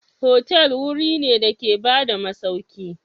hotel wuri ne da ke bada masauki.